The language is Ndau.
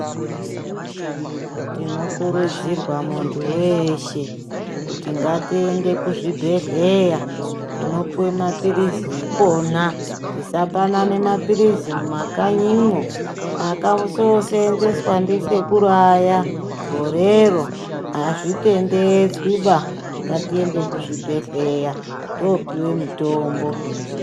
Tino kurudzirwa muntu weshe kuti ngati ende ku zvibhedhleya tinopuwa ma pilizi ikona tisa panana ma pilizi muma kanyimwo akaso senzeswa ndi sekuru aya gorero azvitendedzwi ba ngati ende ku zvibhedhleya topiwe mitombo.